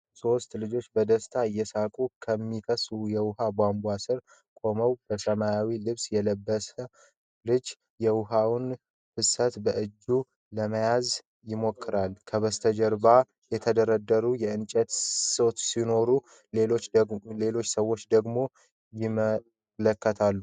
ሶስት ልጆች በደስታ እየሳቁ ከሚፈስ የውሃ ቧንቧ ስር ቆመዋል፡፡ በሰማያዊ ልብስ የለበሰው ልጅ የውሃውን ፍሰት በእጁ ለመያዝ ይሞክራል፡፡ ከበስተጀርባው የተደራረቡ እንጨቶች ሲኖሩ፣ ሌሎች ሰዎች ደግሞ ይመለከታሉ፡፡